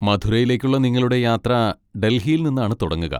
മഥുരയിലേക്കുള്ള നിങ്ങളുടെ യാത്ര ഡൽഹിയിൽ നിന്നാണ് തുടങ്ങുക.